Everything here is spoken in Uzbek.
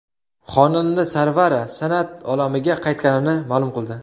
Xonanda Sarvara san’at olamiga qaytganini ma’lum qildi.